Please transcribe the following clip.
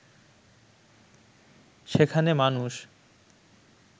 সেখানে মানুষ